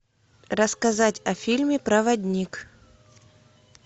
рассказать о фильме проводник